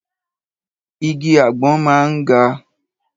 Igi àgbọn máa ń ga.